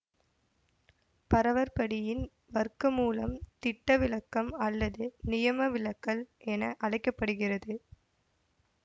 பரவற்படியின் வர்க்கமூலம் திட்டவிலக்கம் அல்லது நியமவிலகல் என அழைக்க படுகிறது